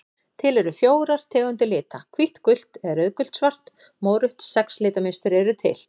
Til eru fjórar tegundir lita: hvítt gult eða rauðgult svart mórautt Sex litmynstur eru til.